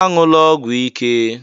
"Aṅụla ọgwụ ike"